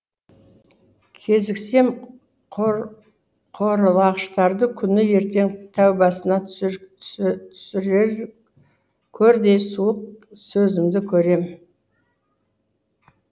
кезіксем қорлағыштарды күні ертең тәубасына түсіреркөрдей суық сөзімді көрем